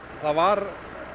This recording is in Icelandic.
það var